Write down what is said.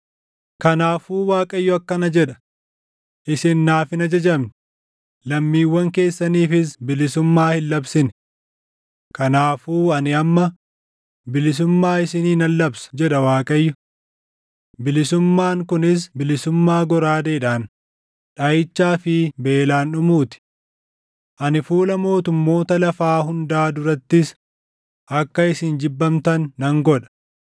“Kanaafuu Waaqayyo akkana jedha: Isin naaf hin ajajamne; lammiiwwan keessaniifis bilisummaa hin labsine. Kanaafuu ani amma, ‘Bilisummaa isinii nan labsa’ jedha Waaqayyo; ‘Bilisummaan’ kunis bilisummaa goraadeedhaan, dhaʼichaa fi beelaan dhumuu ti. Ani fuula mootummoota lafaa hundaa durattis akka isin jibbamtan nan godha.